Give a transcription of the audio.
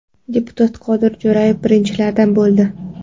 Deputat Qodir Jo‘rayev birinchilardan bo‘ldi .